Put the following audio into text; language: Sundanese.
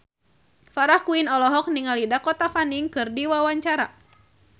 Farah Quinn olohok ningali Dakota Fanning keur diwawancara